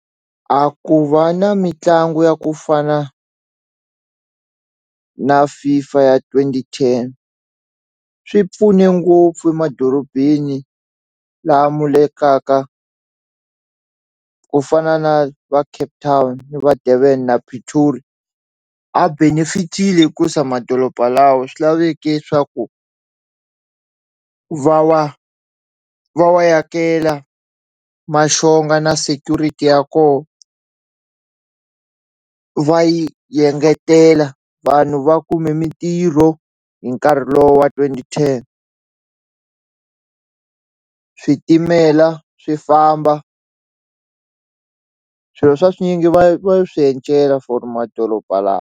A ku va na mitlangu ya ku fana na FIFA ya twenty ten swi pfune ngopfu emadorobeni laha mu le ka ka ku fana na va Cape Town va Durban na Pretoria a benefit-ile hikusa madoroba lawa swi laveke swa ku va wa va wa yakela maxonga na security ya ko va yi yengetela vanhu va kume mintirho hi nkarhi lowa twenty ten switimela swi famba swilo swa swinyingi va va swi for madoroba lama.